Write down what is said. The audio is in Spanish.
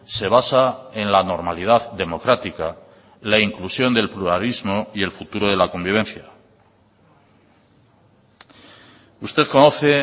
se basa en la normalidad democrática la inclusión del pluralismo y el futuro de la convivencia usted conoce